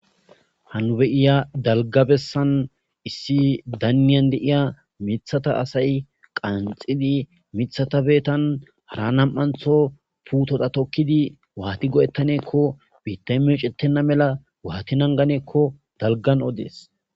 Ha nu be'iya dalgga bessan issi daynne de'iya mithata asay qanxidi mithata Hara namantho puteza tokidi Wati goeatane giko Bittay meccetena mala Wati nangane giko Dalgan odes